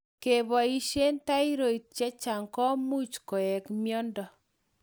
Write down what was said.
Kepoishe thyroid chechang' komuch koek miondo